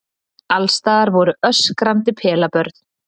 Alls staðar voru öskrandi pelabörn.